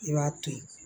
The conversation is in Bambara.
I b'a to ye